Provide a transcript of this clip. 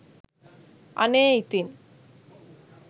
අනේ ඉතින්